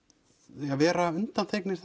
vera undanþegnir